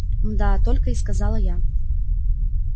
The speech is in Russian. мда-а-а только и сказала я